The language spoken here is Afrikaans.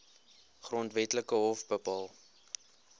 grondwetlike hof bepaal